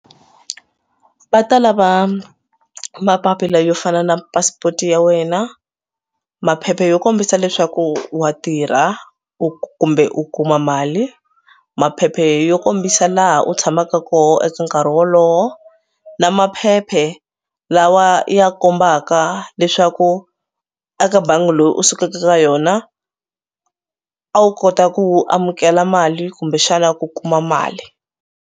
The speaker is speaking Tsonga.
Va ta lava mapapila yo fana na passport ya wena, maphepha yo kombisa leswaku wa tirha u kumbe u kuma mali, maphepha yo kombisa laha u tshamaka kona eka nkarhi wolowo na maphephe lawa ya kombaka leswaku eka bangi leyi u sukaka ka yona a wu kota ku amukela mali kumbexana ku kuma mali.